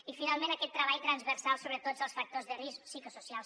i finalment aquest treball transversal sobre tots els factors de risc psicosocials